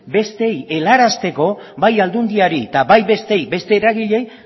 besteei helarazteko bai aldundiari eta bai besteei beste eragileei